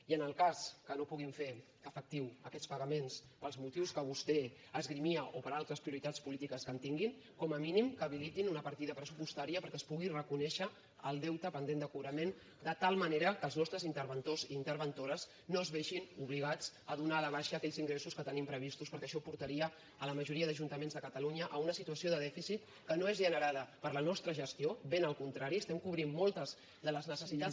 i en el cas que no puguin fer efectius aquests pagaments pels motius que vostè esgrimia o per altres prioritats polítiques que tinguin com a mínim que habilitin una partida pressupostària perquè es pugui reconèixer el deute pendent de cobrament de tal manera que els nostres interventors i interventores no es vegin obligats a donar de baixa aquells ingressos que tenim previstos perquè això portaria la majoria d’ajuntaments de catalunya a una situació de dèficit que no és generada per la nostra gestió ben al contrari estem cobrint moltes de les necessitats